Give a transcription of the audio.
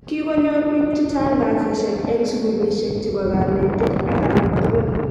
Kikonyor bik che chang kasishek eng sikulishek chebo kanetik ak alak tukul